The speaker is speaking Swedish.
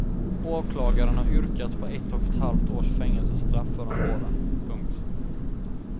Åklagaren har yrkat på ett och ett halvt års fängelsestraff för de båda. punkt